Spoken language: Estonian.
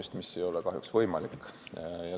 See aga ei ole kahjuks võimalik.